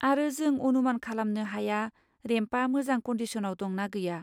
आरो जों अनुमान खालामनो हाया रेम्पआ मोजां कनडिसनाव दं ना गैया।